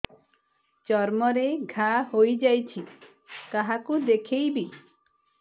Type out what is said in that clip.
ଚର୍ମ ରେ ଘା ହୋଇଯାଇଛି କାହାକୁ ଦେଖେଇବି